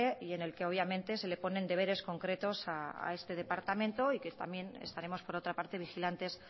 y en el que obviamente se le ponen deberes concretos a este departamento y que también estaremos por otra parte vigilantes